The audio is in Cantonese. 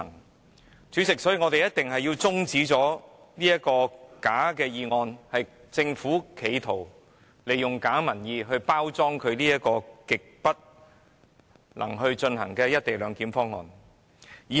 代理主席，因此我們一定要中止這項假議案，即政府企圖利用假民意來包裝這個絕對不能進行的"一地兩檢"方案。